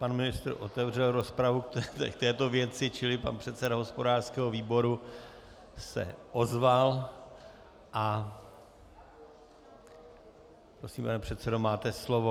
Pan ministr otevřel rozpravu k této věci, čili pan předseda hospodářského výboru se ozval a prosím, pane předsedo, máte slovo.